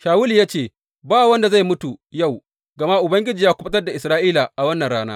Shawulu ya ce, Ba wanda zai mutu yau, gama Ubangiji ya kuɓutar da Isra’ila a wannan rana.